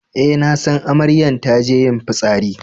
Eh, na san amaryan ta je yin fissari.